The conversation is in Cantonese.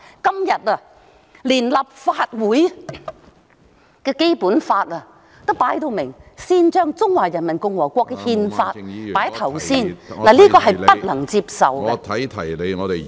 今天，連立法會也公然將《中華人民共和國憲法》放在首位，這是不能夠接受的......